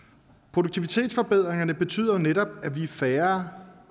produktivitetsforbedringerne betyder jo netop at vi er færre